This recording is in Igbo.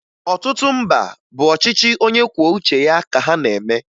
Ọtụtụ mba bụ ọchịchị onyekwuouche ya ka ha na-eme